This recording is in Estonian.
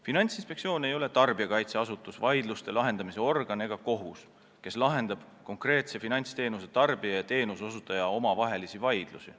Finantsinspektsioon ei ole tarbijakaitseasutus, vaidluste lahendamise organ ega kohus, kes lahendab konkreetsete finantsteenuste tarbijate ja osutajate omavahelisi vaidlusi.